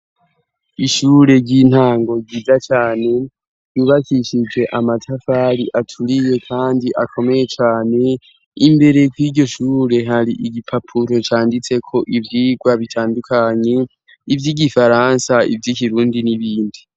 Ishure ry'intango giza cane byubakishije amatavari aturiye kandi akomeye cyane imbere ko'iryo shure hari igipapuro canditse ko ivyigwa bitandukanye iby'igifaransa iby'ikirundi n'ibindi.